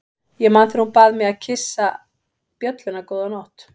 Ég man þegar hún bað mig að kyssa bjölluna góða nótt.